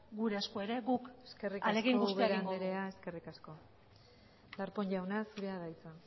gure esku ere guk ahalegin guztia egingo dugu eskerrik asko ubera andrea darpón jauna zurea da hitza